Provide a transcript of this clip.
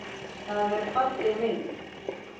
Það er falleg mynd.